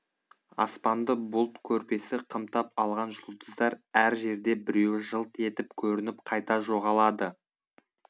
аспанды бұлт көрпесі қымтап алған жұлдыздар әр жерде біреуі жылт етіп көрініп қайта жоғалады